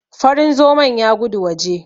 Farin zomon ya gudu waje.